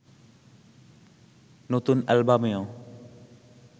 নতুন অ্যালবামেও